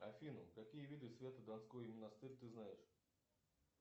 афина какие виды свято донской монастырь ты знаешь